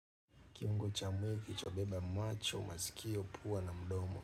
Kiungo cha mwili kilichobeba macho, masikio, pua na mdomo.